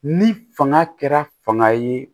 Ni fanga kɛra fanga ye